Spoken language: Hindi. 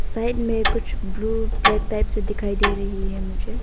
साइड मे कुछ ब्लू ब्लैक टाइप से दिखाई दे रही है मुझे।